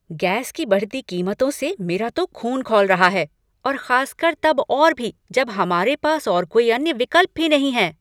Gas की बढ़ती कीमतों से मेरा तो ख़ून खौल रहा है और खास कर तब और भी जब हमारे पास और कोई अन्य विकल्प भी नहीं है।